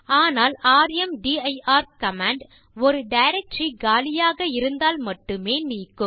ஆனால் ர்ம்தீர் கமாண்ட் ஒரு டைரக்டரி காலியாக இருந்தால் மட்டுமே நீக்கும்